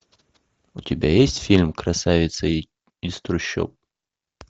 у тебя есть фильм красавица из трущоб